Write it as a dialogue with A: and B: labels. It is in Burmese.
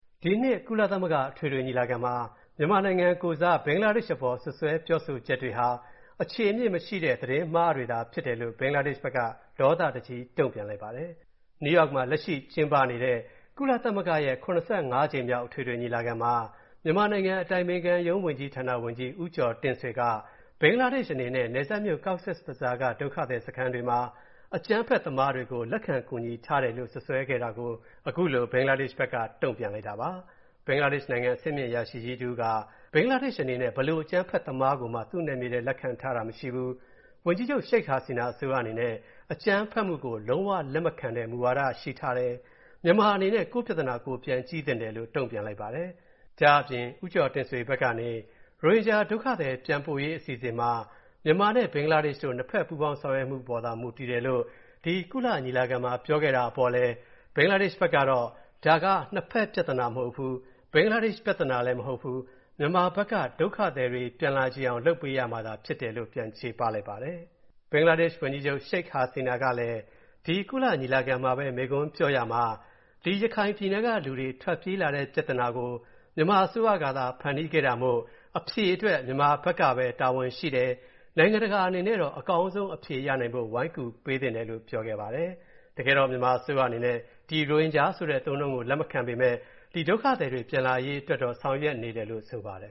A: ဒီနှစ် ကုသမဂ္ဂအထွေထွေညီမလာခံမှာ မြန်မာနိုင်ငံကိုယ်စား ဘင်္ဂလားဒေ့ရှ်အပေါ် စွပ်စွဲပြောဆိုချက်တွေဟာ အခြေအမြစ်မရှိတဲ့ သတင်းမှားတွေသာဖြစ်တယ်လို့ ဘင်္ဂလားဒေ့ရှ်ဘက်က ဒေါသတကြီး တုံ့ပြန်လိုက်ပါတယ်။ လက်ရှိကျင်းပနေတဲ့ ကုလသမဂ္ဂရဲ့ (၇၅) ကြိမ်မြောက်အထွေထွေညီလာခံမှာ မြန်မာနိုင်ငံ အတိုင်ပင်ခံရုံးဝန်ကြီးဌာန ဝန်ကြီး ဦးကျော်တင့်ဆွေက ဘင်္ဂလားဒေ့ရှ်အနေနဲ့ နယ်စပ်မြို. Cox’s Bazar က ဒုက္ခသည်စခန်းတွေမှာ အကြမ်းဖက်သမားတွေကိုလက်ခံကူညီထားတယ်လို့ စွပ်စွဲခဲ့တာကို ခုလို တုံ့ပြန်လိုက်တာပါ။ ဘင်္ဂလားဒေ့ရှ်နိုင်ငံ အဆင်မြင့်အရာရှိကြီးတစ်ဦးက ဘင်္ဂလားဒေ့ရှ်အနေနဲ့ ဘယ်လို အကြမ်းဖက်သမားကိုမှ သူ့နယ်မြေထဲ လက်ခံတာမရှိဘူး။ ဝန်ကြီးချုပ် Sheikh Hasina အစိုးရအနေနဲ့ အကြမ်းဖက်မူကို လုံးဝလက်မခံတဲ့ မူဝါဒရှိထားတယ်၊ မြန်မာအနေနဲ့ ကိုယ့်ပြဿနာ ကိုယ်ပြန်ကြည့်သင့်တယ်လို့ တုံ့ပြန်လိုက်ပါတယ်။ ဒါ့အပြင် ဦးကျော်တင့်ဆွေဘက်ကနေ၊ ရိုဟင်ဂျာဒုက္ခသည်ပြန်ပို့ရေးအစီအစဉ်မှာ မြန်မာနဲ့ ဘင်္ဂလားဒေ့ရှ်တို့ နှစ်ဖက်ပူပေါင်းဆောင်ရွက်မူအပေါ်သာ မူတည်တယ်လို့ ဒီကုလညီလာခံမှာ ပြောခဲ့တာကအပေါ်လည်း၊ ဒါက နှစ်ဖက်ပြဿနာမဟုတ်ဘူး။ ဘင်္ဂလားဒေ့ရှ် ပြဿနာလည်းမဟုတ်ဘူး၊ မြန်မာဘက်ကသာ ဒုက္ခသည်တွေပြန်လာချင်အောင် လုပ်ပေးရမှာဖြစ်တယ်လို့ ပြန်ချေပလိုက်ပါတယ်။ ဘင်္ဂလားဒေ့ရှ် ဝန်ကြီးချုပ် Sheikh Hasina ကလည်း ဒီညီလာခဲ့မှာ မိန့်ခွန်းပြောရာမှာ ဒီရခိုင်ပြည်နယ်ကလူတွေ ထွက်ပြေးလာတဲ့ပြဿနာကို မြန်မာအစိုးရကသာ ဖန်တီးခဲ့တာမို့၊ မြန်မာဘက်ကပဲ အဖြေရှာမှရမယ်၊ နိုင်ငံတကာအနေနဲ့တော့ အကောင်းဆုံးအဖြေရနိုင်ဖို့ ဝိုင်းကူပေးသင့်တယ်လို့ ပြောခဲ့ပါတယ်။ မြန်မာအစိုးရဘက်ကတော့ ဒီရိုဟင်ဂျာဆိုတဲ့အသုံးအနှုန်းကို တရားဝင်လက်မခံပေမဲ့၊ ဒီဒုက္ခသည်တွေ ပြန်လာရေးတော့ ဆောင်ရွက်ပေးနေတယ်လို့ ဆိုပါတယ်